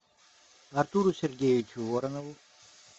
артуру сергеевичу воронову